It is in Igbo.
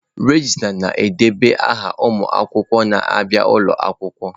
Regista na-edeba aha ụmụ akwụkwọ na-abịa ụlọ akwụkwọ.